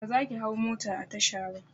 Ba zaki hau mota a tasha ba!